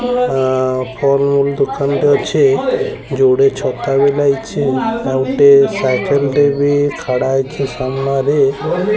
ଆଁ ଫଲ୍ ମୂଲ୍ ଦୋକାନ୍ ଟେ ଅଛି ଯୋଡେ ଛତା ବି ଲାଗିଛି ଆଉ ଗୋଟେ ସାଇକେଲ୍ ଟେ ବି ଖାଡାହେଇଚି ସାମ୍ନାରେ।